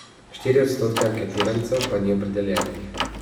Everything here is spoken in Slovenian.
Štiri odstotke anketirancev pa ni opredeljenih.